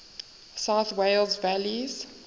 south wales valleys